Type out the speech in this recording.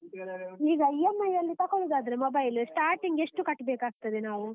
ಈಗ EMI ಅಲ್ಲಿ ತಕೊಳ್ಳುದಾದ್ರೆ mobile starting ಎಷ್ಟು ಕಟ್ಬೇಕಾಗ್ತದೆ ನಾವು?